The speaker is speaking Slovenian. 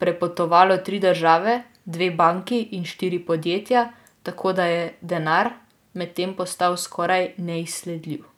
prepotovalo tri države, dve banki in štiri podjetja, tako da je denar medtem postal skoraj neizsledljiv.